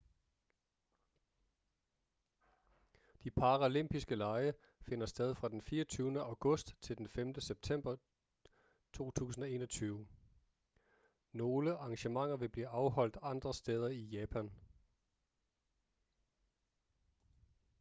de paralympiske lege finder sted fra den 24. august til den 5. september 2021. nogle arrangementer vil blive afholdt andre steder i japan